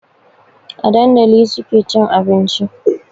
A dandali suke cin abinci